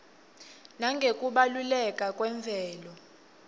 nangekubaluleka kwemvelo